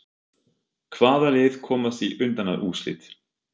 Hvaða lið komast í undanúrslit?